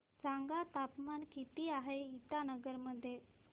सांगा तापमान किती आहे इटानगर मध्ये